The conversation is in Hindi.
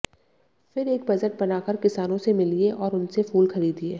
फिर एक बजट बना कर किसानों से मिलिए और उनसे फूल खरीदिए